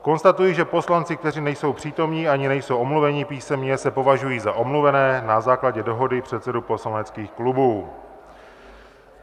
Konstatuji, že poslanci, kteří nejsou přítomni ani nejsou omluveni písemně, se považují za omluvené na základě dohody předsedů poslaneckých klubů.